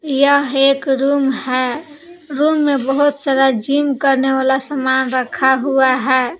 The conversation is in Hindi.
यह एक रूम है रूम में बहुत सारा जिम करने वाला सामान रखा हुआ है।